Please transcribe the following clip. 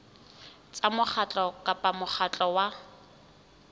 tsa mokgatlo kapa mokgatlo wa